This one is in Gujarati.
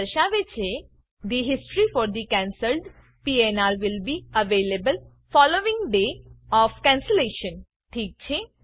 આ દર્શાવે છે the history for the cancelled PNR will be available following day of cancellation ઠીક છે